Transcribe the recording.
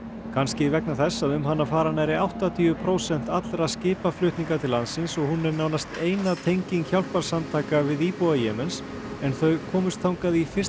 kannski vegna þess að um hana fara nærri áttatíu prósent allra skipaflutninga til landsins og hún er nánast eina tenging hjálparsamtaka við íbúa Jemens en þau komust þangað í fyrsta